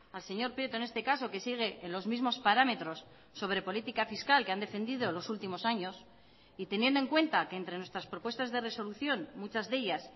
al señor prieto en este caso que sigue en los mismos parámetros sobre política fiscal que han defendido los últimos años y teniendo en cuenta que entre nuestras propuestas de resolución muchas de ellas